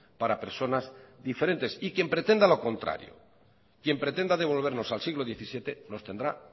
para personas diferentes y quien pretenda lo contrario quien pretenda devolvernos al siglo diecisiete nos tendrá